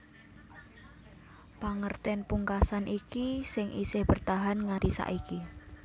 Pangertèn pungkasan iki sing isih bertahan nganti saiki